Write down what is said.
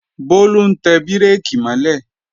Bólú ń tẹ bírèkì mọ́ lẹ̀